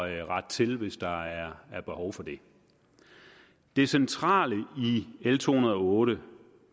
at rette til hvis der er er behov for det det centrale i l to hundrede og otte